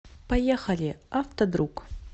поехали автодруг